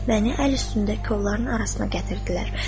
Məni əl üstündə kolların arasına gətirdilər.